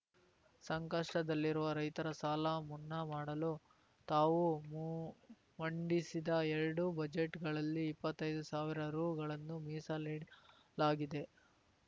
ಸಂಕಷ್ಟದಲ್ಲಿರುವ ರೈತರ ಸಾಲ ಮುನ್ನಾ ಮಾಡಲು ತಾವು ಮು ಮಂಡಿಸಿದ ಎರಡು ಬಜೆಟ್‌ಗಳಲ್ಲಿ ಇಪ್ಪತ್ತೈದು ಸಾವಿರ ರೂಗಳನ್ನು ಮೀಸಲಿಡಲಾಗಿದೆ